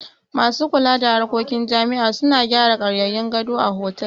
Masu kula da harkokin jami'a suna gyara ƙaryayyun gado a hostel